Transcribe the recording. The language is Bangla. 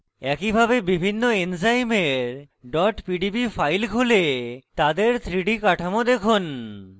একইভাবে বিভিন্ন এনজাইমের pdb files খুলে তাদের 3d কাঠামো দেখুন